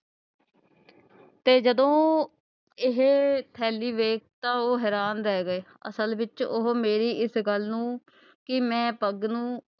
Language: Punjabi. ਤੇ ਜਦੋਂ ਇਹ ਥੈਲੀ ਵੇਖੀ ਤਾਂ ਉਹ ਹੈਰਾਨ ਰਹਿ ਗਏ ਅਸਲ ਵਿਚ ਉਹ ਮੇਰੀ ਇਸ ਗੱਲ ਨੂੰ ਕਿ ਮੈਂ ਪੱਗ ਨੂੰ,